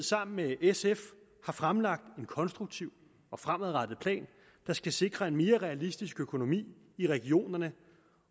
sammen med sf har fremlagt en konstruktiv og fremadrettet plan der skal sikre en mere realistisk økonomi i regionerne